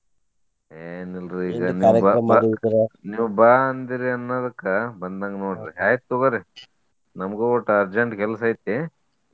ಏನ ಇಲ್ರಿ ಈಗ ನೀವ ಬಾ ಅಂದಿರಿ ಅನ್ನೋದಕ್ಕ ಬಂದಂಗ ನೋಡ್ರಿ ಆಯ್ತ್ ತೊಗೋರಿ ನಮ್ಗು ಒಟ urgent ಕೆಲಸ ಐತಿ.